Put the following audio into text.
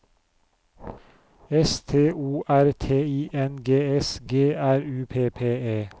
S T O R T I N G S G R U P P E